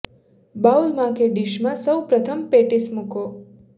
bowl માં કે dish માં સૌ પ્રથમ પેટીસ મૂકો